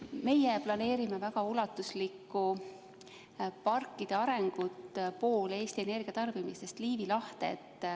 Meie planeerime väga ulatuslikku parkide arengut, pool Eesti energiatootmisest läheb Liivi lahte.